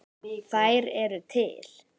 Þær eru til.